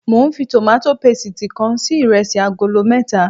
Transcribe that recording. Mo ń fi tòmátò pésìti kan se iresi agolo mẹ́ta